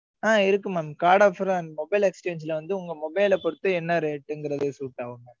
ஆஹ் இருக்கு mam. card offer ஆ mobile exchange ல வந்து, உங்க mobile ல பொறுத்து, என்ன rate ங்கிறது suit ஆகுங்க